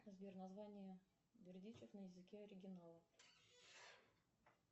сбер название бердичев на языке оригинала